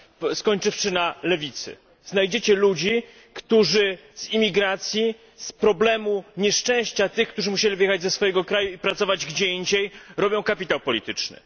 a skończywszy na lewicy znajdziecie ludzi, którzy z imigracji, z problemu nieszczęścia tych, którzy musieli wyjechać ze swojego kraju i pracować gdzie indziej, zbijają kapitał polityczny.